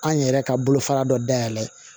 An yɛrɛ ka bolofara dɔ dayɛlɛ